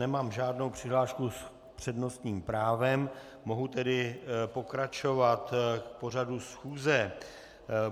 Nemám žádnou přihlášku s přednostním právem, mohu tedy pokračovat v pořadu schůze.